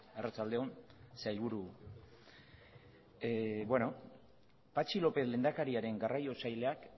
arratsalde on sailburu patxi lópez lehendakariaren garraio sailak